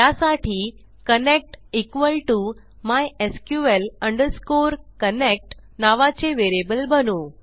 त्यासाठी connect equal to mysql connect नावाचे variable बनवू